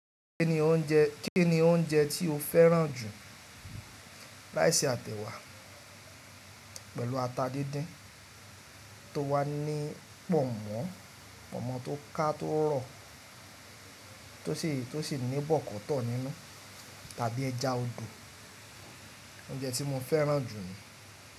Kíni oúnjẹ tí o fẹ́ràn jù ráìsí àti ẹ̀wá pẹ̀lú ata díndín tó wà ní pọ̀nmọ́, pọ̀nmọ́ tó ká tó rọ̀ tó sì ní bọ̀kọ́tọ̀ nínú tàbí ẹja odò? Oúnjẹ tí mo fẹ́ràn jù ni.